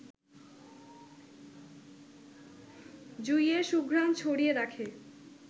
জুঁইয়ের সুঘ্রাণ ছড়িয়ে রাখে